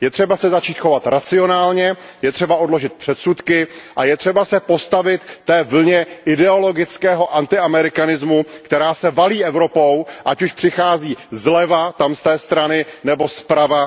Je třeba se začít chovat racionálně, je třeba odložit předsudky a je třeba se postavit té vlně ideologického antiamerikanismu, která se valí Evropou, ať už přichází zleva nebo zprava.